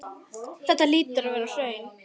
Þetta hlýtur að vera hraun.